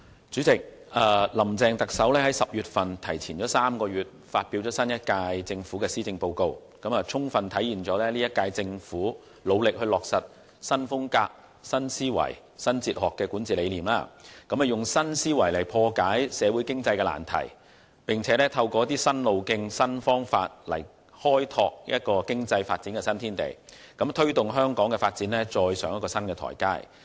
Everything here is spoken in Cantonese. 主席，特首"林鄭"提前了3個月在10月發表新一屆政府的施政報告，充分體現本屆政府努力落實"新風格、新思維、新哲學"的管治理念，以新思維來破解社會經濟難題，並透過一些新路徑、新方法來開拓經濟發展的新天地，推動香港的發展踏上新台階。